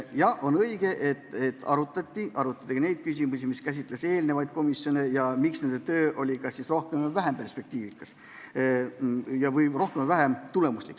Jaa, on õige, et arutati ka neid küsimusi, mis käsitlesid eelnevaid komisjone ja seda, miks oli nende töö kas rohkem või vähem perspektiivikas või tulemuslik.